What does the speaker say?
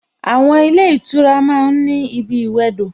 Àwon ilé ìtura ma ń ní ibi ìwẹdò